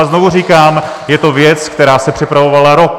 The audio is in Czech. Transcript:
A znovu říkám, je to věc, která se připravovala rok.